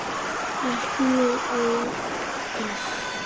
ALLT MJÖG ÓDÝRT!